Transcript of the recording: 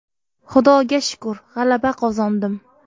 Xudoga shukr, g‘alaba qozondim.